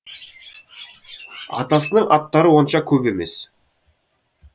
атасының аттары онша көп емес